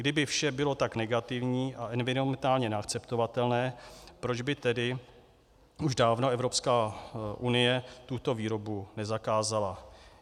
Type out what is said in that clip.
Kdyby vše bylo tak negativní a environmentálně neakceptovatelné, proč by tedy už dávno Evropská unie tuto výrobu nezakázala?